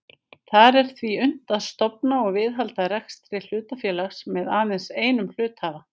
Þar er því unnt að stofna og viðhalda rekstri hlutafélags með aðeins einum hluthafa.